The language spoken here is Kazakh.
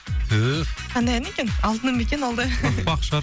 түф қандай ән екен алтыным ба екен ол да пах пах шығар